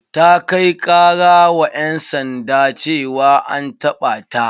Ta kai kara wa ƴan sanda ceawa an taɓa ta.